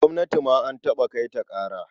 Gwamnati ma an taɓa kai ta ƙara.